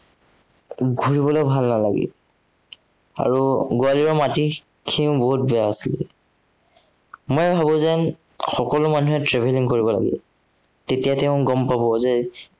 ঘূৰিবলে ভাল নালাগিল। আৰু গোৱালিয়ৰৰ মাটিখিনিও বহুত বেয়া আছিলে। মই ভাবো যে সকলো মানুহে travelling কৰিব লাগে। তেতিয়া তেওঁ গম পাব যে